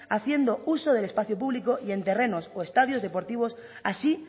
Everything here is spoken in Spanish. haciendo uso del espacio público y en terrenos o estadios deportivos así